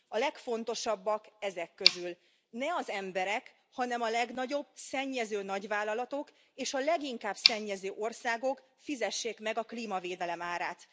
A legfontosabbak ezek közül ne az emberek, hanem a legnagyobb szennyező nagyvállalatok és a leginkább szennyező országok fizessék meg a klímavédelem árát.